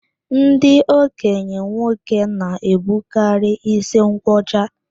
Ndị okenye nwoke na-ebukarị ísí nkwọcha